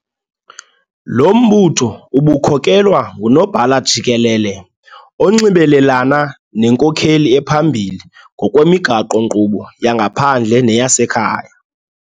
Lo mbutho ubukhokelwa nguNobhala Jikelele, onxibelelana nenkokeli ephambili ngokwemigaqo-nkqubo yangaphandle neyasekhaya.